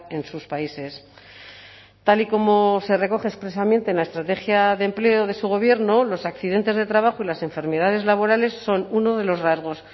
en sus países tal y como se recoge expresamente en la estrategia de empleo de su gobierno los accidentes de trabajo y las enfermedades laborales son uno de los rasgos